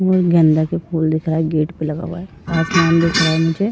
वो गेंदा के फूल दिख रहा है। गेट पे लगा हुआ है। आसमान दिख रहा है मुझे।